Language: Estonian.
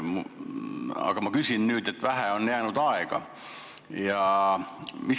Aga ma küsin nüüd selle kohta, et vähe aega on järele jäänud.